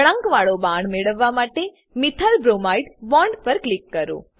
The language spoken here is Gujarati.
વળાંકવાળો બાણ મેળવવા માટે મિથાઇલબ્રોમાઇડ બોન્ડ પર ક્લિક કરો